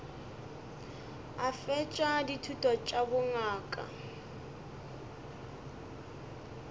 a fetša dithuto tša bongaka